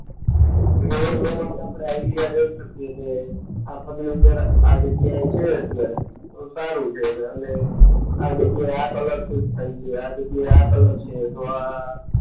ને એ પ્રમાણે આપણે આઈડિયા દઈ શકીએ છે આ ફર્નિચર આ જગ્યાએ છે અત્યારે તો સારું છે અને આ જગ્યા એ આ કલર શૂટ થાય છે, આ જગ્યાએ આ કલર છે તો આ